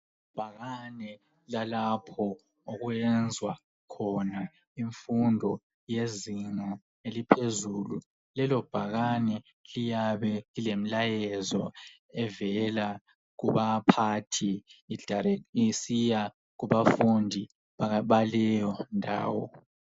Ibhakane lalapho okwenzwa khona imfundo yezinga elemfundo yaphezulu. Lelo bhakane liyabe lilemlayezo evela kubaphathi isiya kubafundi bakuleyo ndawo.